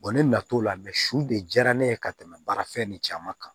ne na t'o la su de diyara ne ye ka tɛmɛ baara fɛn nin caman kan